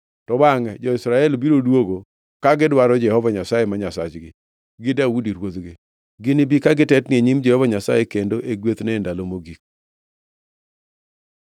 To bangʼe jo-Israel biro duogo ka gidwaro Jehova Nyasaye ma Nyasachgi gi Daudi ruodhgi. Ginibi ka gitetni e nyim Jehova Nyasaye kendo e gwethne e ndalo mogik.